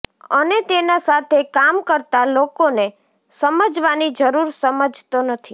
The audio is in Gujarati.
અને તેના સાથે કામ કરતા લોકોને સમજવાની જરુર સમજતો નથી